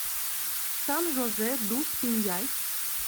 сан жозе дус пиньяйс